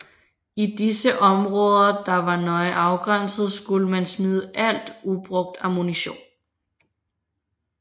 I disse områder der var nøje afgrænset skulle man smide alt ubrugt ammunition